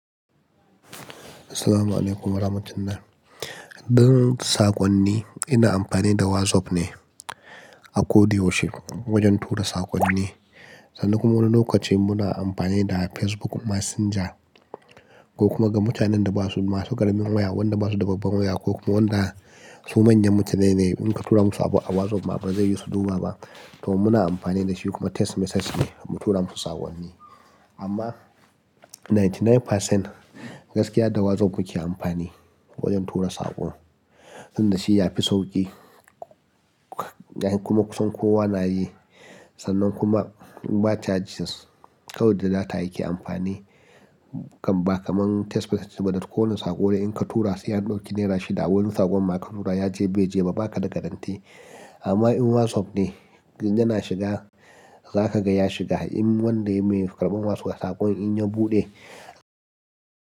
Assalamu alaikum rahmatullahi. Don saƙonni, ina amfani da WhatsApp ne akoda yaushe wajen tura saƙonni. Sannan kuma wani lokaci muna amfani da Facebook Messenger ko kuma ga mutanen da ba su masu ƙaramin waya, wanda ba su da babban waya ko kuma wanda su manyan mutane ne, in ka tura musu abu a WhatsApp ba zai yi su duba ba, to muna amfani da shi kuma text message mu tura musu saƙonni. Amma ninety nine percent gaskiya da WhatsApp muke amfani wajen tura saƙo, wanda shi ya fi sauƙi kuma kusan kowa na yi. Sannan kuma ba charges, kawai da data yake amfani. Kam, ba kamar text message ba da ko wani saƙo da in ka tura sai an ɗauki naira shida. Wani saƙon ma ka tura ya je bai je ba, ba ka da guarantee. Amma in WhatsApp ne yana shiga, za ka ga ya shiga. In wanda ya yi ƙarɓan wasu saƙon in ya buɗe.